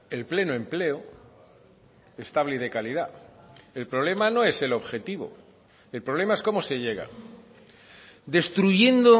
el pleno empleo estable y de calidad el problema no es el objetivo el problema es cómo se llega destruyendo